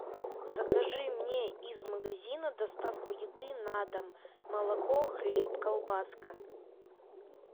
закажи мне из магазина доставку еды на дом молоко хлеб колбаска